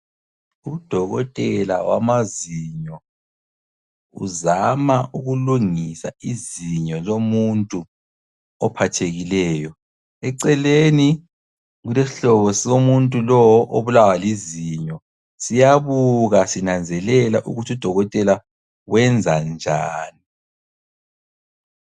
Udokotela wamazinyo uzama ukulungisa izinyo lomuntu ophathekileyo. Eceleni kulesihlobo somuntu lowo obulawa lizinyo, siyabuka sinanzelela ukuthi udokotela wenza njani.